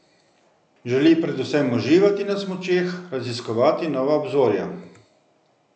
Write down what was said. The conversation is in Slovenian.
Želi predvsem uživati na smučeh, raziskovati nova obzorja.